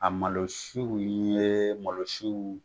A malosi ye malosi